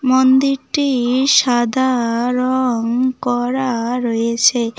মন্দিরটি সাদা রং করা রয়েছে।